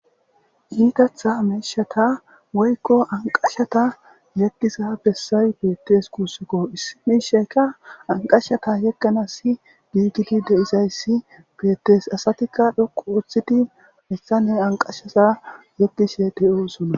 Itaththa mishshata woyikko aniqashshata yegoza besayi betes gussukko issi mishsheka aniqashshata yeganas gigidi dizayiss betes.asatikka dhuqu oththidi hessanni hee aniqashshaza yegishshe de'osonna .